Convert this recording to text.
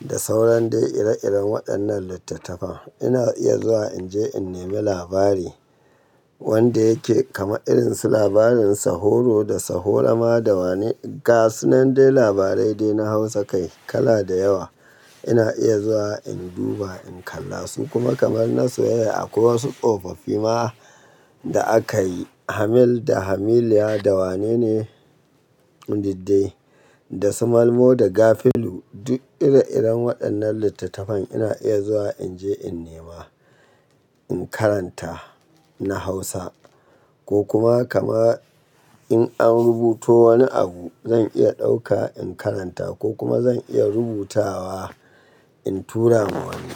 da sauran dai ire-iren waɗannan littattafan. Ina iya zuwa in je in nemi labari wanda yake kama irin su labarin Sahoro da Sahoramma da wane gasunan dai labarai dai na Hausa kai kala da yawa. Ina iya zuwa in duba in kalla su kuma kamar na soyayya akwai wasu tsofoffi ma da aka yi hamil da hamiliya da wanene d idday da su Malmo da Gafilu duk ire-iren waɗannan littattafan ina iya zuwa in je in nema in karanta na Hausa ko kuma kama in an rubuto wani abu zan iya ɗauka in karanta ko kuma zan iya rubutawa in tura ma wani.